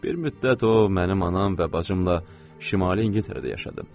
Bir müddət o mənim anam və bacımla şimali İngiltərədə yaşadı.